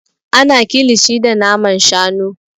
Ana kilishi da naman shanu.